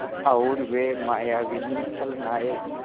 और वे मायाविनी छलनाएँ